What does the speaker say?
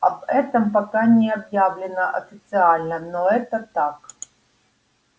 об этом пока не объявлено официально но это так